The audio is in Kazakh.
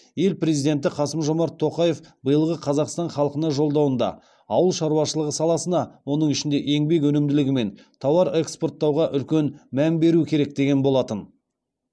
ел президенті қасым жомарт тоқаев биылғы қазақстан халқына жолдауында ауыл шаруашылығы саласына оның ішінде еңбек өнімділігі мен тауар экспорттауға үлкен мән беру керек деген болатын